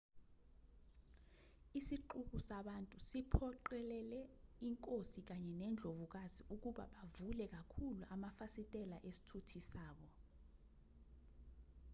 isixuku sabantu siphoqelele inkosi kanye nendlovukazi ukuba bavule kakhulu amafasitela esithuthi sabo